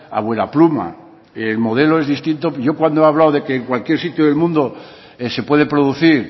a vuelapluma el modelo es distinto yo cuando he hablado de que en cualquier sitio del mundo se puede producir